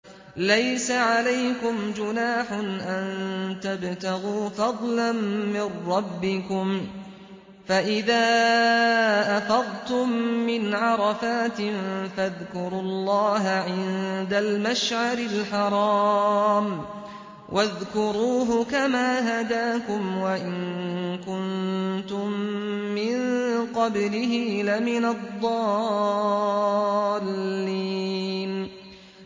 لَيْسَ عَلَيْكُمْ جُنَاحٌ أَن تَبْتَغُوا فَضْلًا مِّن رَّبِّكُمْ ۚ فَإِذَا أَفَضْتُم مِّنْ عَرَفَاتٍ فَاذْكُرُوا اللَّهَ عِندَ الْمَشْعَرِ الْحَرَامِ ۖ وَاذْكُرُوهُ كَمَا هَدَاكُمْ وَإِن كُنتُم مِّن قَبْلِهِ لَمِنَ الضَّالِّينَ